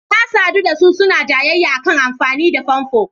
Na sadu da su suna jayayya a kan amfani da famfo.